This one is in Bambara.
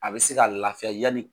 A bɛ se ka laafiya yanni